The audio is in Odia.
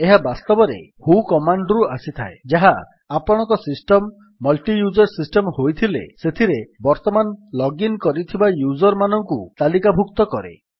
ଏହା ବାସ୍ତବରେ ହୁ କମାଣ୍ଡ୍ ରୁ ଆସିଥାଏ ଯାହା ଆପଣଙ୍କ ସିଷ୍ଟମ୍ ମଲ୍ଟିୟୁଜର୍ ସିଷ୍ଟମ୍ ହୋଇଥିଲେ ସେଥିରେ ବର୍ତ୍ତମାନ ଲଗ୍ଇନ୍ କରିଥିବା ୟୁଜର୍ ମାନଙ୍କୁ ତାଲିକାଭୁକ୍ତ କରେ